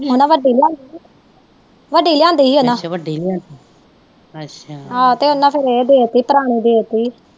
ਉਹਨਾਂ ਵੱਡੀ ਲਿਆਂਦੀ ਤੇ ਵੱਡੀ ਲਿਆਂਦੀ ਹੀ ਉਹਨਾਂ ਆਹੋ ਤੇ ਉਹਨਾਂ ਫਿਰ ਇਹ ਦੇਤੀ ਪੁਰਾਣੀ ਦੇਤੀ ਆ।